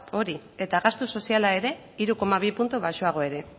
hori eta gastu soziala ere hiru koma bi puntu baxuagoa ere